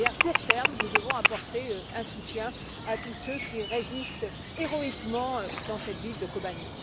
À court terme, nous devons apporter un soutien à tous ceux qui résistent héroïquement dans cette ville de Kobané.